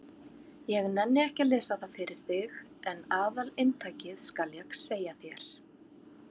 Ég nenni ekki að lesa það fyrir þig en aðalinntakið skal ég segja þér.